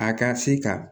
A ka se ka